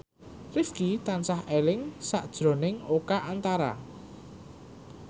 Rifqi tansah eling sakjroning Oka Antara